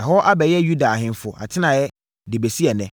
ɛhɔ abɛyɛ Yuda ahemfo atenaeɛ de bɛsi ɛnnɛ),